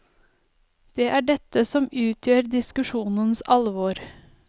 Det er dette som utgjør diskusjonens alvor.